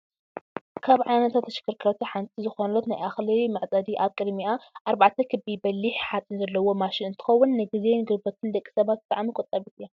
ካብ ዓይነታት ተሽከርከርቲ ሓንቲ ዝኮነት ናይ እክሊ መዕፀዲ ኣብ ቅድሚኣ ኣርባዕተ ክቢ በሊሕ ሓፂን ዘለዋ ማሽን እንትከውን፣ ንግዜን ጉልበትን ደቂ ሰባት ብጣዕሚ ቆጣቢት እያ።